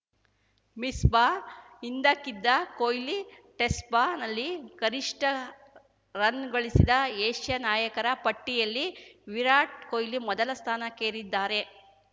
ಮಿಸ್ಬಾ ಹಿಂದಕ್ಕಿದ ಕೊಹ್ಲಿ ಟೆಸ್ಟ್‌ನಲ್ಲಿ ಗರಿಷ್ಠ ರನ್‌ ಗಳಿಸಿದ ಏಷ್ಯಾ ನಾಯಕರ ಪಟ್ಟಿಯಲ್ಲಿ ವಿರಾಟ್‌ ಕೊಹ್ಲಿ ಮೊದಲ ಸ್ಥಾನಕ್ಕೇರಿದ್ದಾರೆ